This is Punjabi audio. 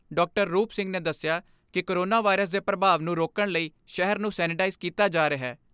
ਰੂਪ ਸਿੰਘ ਨੇ ਦਸਿਆ ਕਿ ਕੋਰੋਨਾ ਵਾਇਰਸ ਦੇ ਪ੍ਰਭਾਵ ਨੂੰ ਰੋਕਣ ਲਈ ਸ਼ਹਿਰ ਨੂੰ ਸੈਨੇਟਾਈਜ਼ ਕੀਤਾ ਜਾ ਰਿਹੈ।